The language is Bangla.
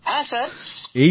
হ্যাঁ স্যার